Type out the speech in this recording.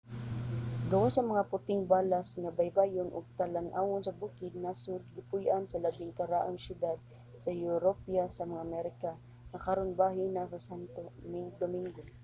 gawas sa mga puting balas nga baybayon ug mga talan-awon sa bukid ang nasod gipuy-an sa labing karaang syudad sa europa sa mga amerika nga karon bahin na sa santo domingo